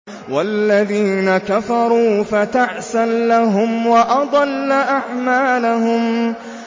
وَالَّذِينَ كَفَرُوا فَتَعْسًا لَّهُمْ وَأَضَلَّ أَعْمَالَهُمْ